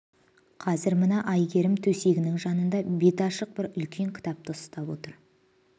қазір мына әйгерім төсегінің жанында беті ашық бір үлкен кітапты ұстап отыр